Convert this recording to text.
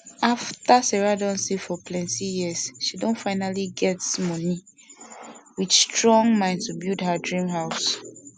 afta sarah don save for plenti years she finally don get money with strong mind to build her dream house